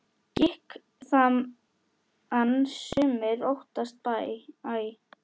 Gikk þann sumir óttast æ.